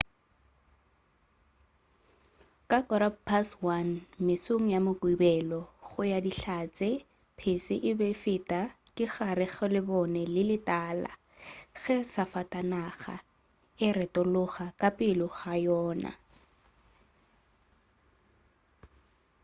ka 1:15 mesong ya mokibelo go ya ka dihlatse pese e be e feta ka gare ga lebone le le tala ge safatanaga e retologa ka pele ga yona